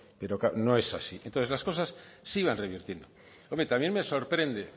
pero no es así entonces las cosas sí van revertiendo hombre también me sorprende